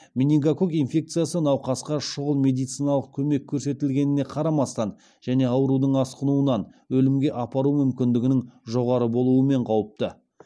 менингококк инфекциясы науқасқа шұғыл медициналық көмек көрсетілгеніне қарамастан және аурудың асқынуынан өлімге апару мүмкіндігінің жоғары болуымен қауіпті